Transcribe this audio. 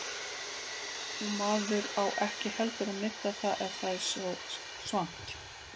Og maður á ekki heldur að nudda það ef það er svangt.